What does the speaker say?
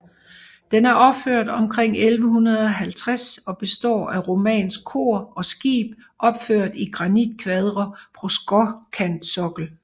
Den er opført omkring 1150 og består af romansk kor og skib opført i granitkvadre på skråkantsokkel